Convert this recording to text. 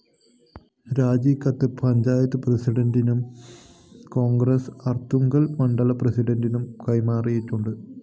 രാജികത്ത് പഞ്ചായത്ത് പ്രസിഡന്റിനും കോൺഗ്രസ്‌ അര്‍ത്തുങ്കല്‍ മണ്ഡലം പ്രസിഡന്റിനും കൈമാറിയിട്ടുണ്ട്